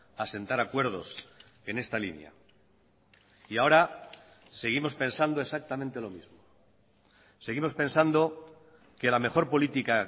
asentar acuerdos en esta línea y ahora seguimos pensando exactamente lo mismo seguimos pensando que la mejor política